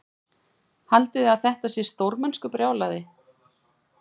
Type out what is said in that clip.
Haldiði að þetta sé stórmennskubrjálæði?